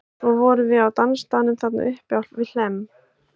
Svo vorum við á dansstaðnum þarna uppi við Hlemm.